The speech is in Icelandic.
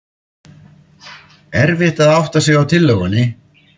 Erfitt að átta sig á tillögunni